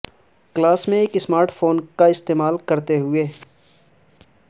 class میں ایک smart phone کا استعمال کرتے ہوئے